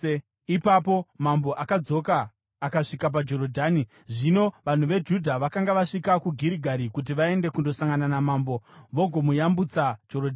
Ipapo mambo akadzoka akasvika paJorodhani. Zvino vanhu veJudha vakanga vasvika kuGirigari kuti vaende kundosangana namambo vagomuyambutsa Jorodhani.